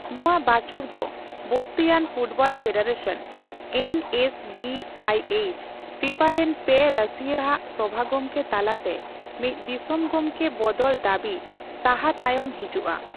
ᱱᱚᱣᱟ ᱵᱟᱪᱚᱠ ᱫᱚ Bosnian football federation (N S B I H) FIFA ᱨᱮᱱ ᱯᱮ ᱨᱟᱹᱥᱤᱭᱟᱹ ᱟᱜ ᱥᱚᱵᱷᱟ ᱜᱚᱢᱠᱮ ᱛᱟᱞᱟᱛᱮ ᱢᱤᱫ ᱫᱤᱥᱚᱢ ᱜᱚᱢᱠᱮ ᱵᱚᱫᱚᱞ ᱫᱟᱹᱵᱤ ᱥᱟᱦᱟ ᱛᱟᱭᱚᱢ ᱦᱤᱡᱩᱜᱼᱟ ᱾